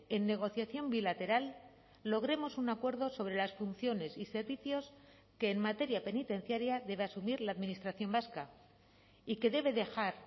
en negociación bilateral logremos un acuerdo sobre las funciones y servicios que en materia penitenciaria debe asumir la administración vasca y que debe dejar